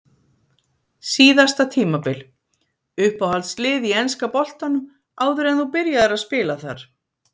Síðasta tímabil Uppáhalds lið í enska boltanum áður en þú byrjaðir að spila þar?